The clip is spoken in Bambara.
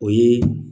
O ye